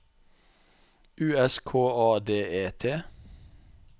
U S K A D E T